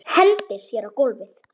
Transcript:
Hendir sér á gólfið.